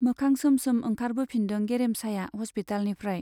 मोखां सोम सोम ओंखारबोफिनदों गेरेमसाया हस्पितालनिफ्राय।